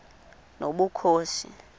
nobukhosi